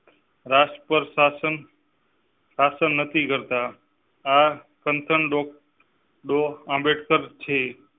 રાષ્ટ્ પર શાસન શાસન નથી કરતા. આંબેડકર છે.